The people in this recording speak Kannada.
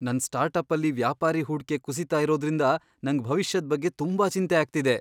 ನನ್ ಸ್ಟಾರ್ಟಪ್ಪಲ್ಲಿ ವ್ಯಾಪಾರೀ ಹೂಡ್ಕೆ ಕುಸೀತಾ ಇರೋದ್ರಿಂದ ನಂಗ್ ಭವಿಷ್ಯದ್ ಬಗ್ಗೆ ತುಂಬಾ ಚಿಂತೆ ಆಗ್ತಿದೆ.